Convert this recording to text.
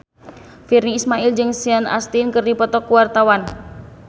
Virnie Ismail jeung Sean Astin keur dipoto ku wartawan